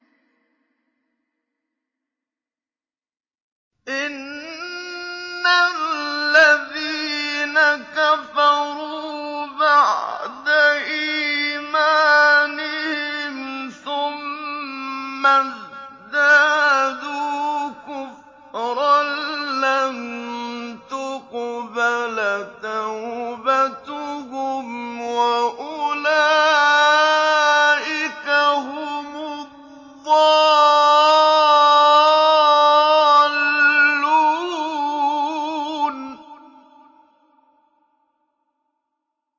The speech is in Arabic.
إِنَّ الَّذِينَ كَفَرُوا بَعْدَ إِيمَانِهِمْ ثُمَّ ازْدَادُوا كُفْرًا لَّن تُقْبَلَ تَوْبَتُهُمْ وَأُولَٰئِكَ هُمُ الضَّالُّونَ